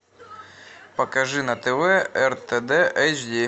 покажи на тв ртд эйчди